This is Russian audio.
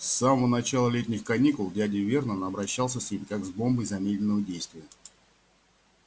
с самого начала летних каникул дядя вернон обращался с ним как с бомбой замедленного действия